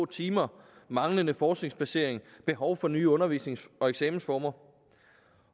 timer manglende forskningsbasering og behov for nye undervisnings og eksamensformer